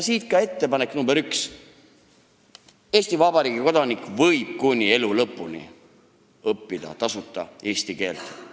Siit ka ettepanek number üks: Eesti Vabariigi kodanik võib kuni elu lõpuni tasuta eesti keelt õppida.